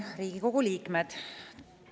Riigikogu liikmed!